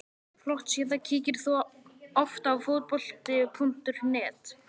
Flott síða Kíkir þú oft á Fótbolti.net?